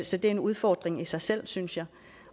så det er en udfordring i sig selv synes jeg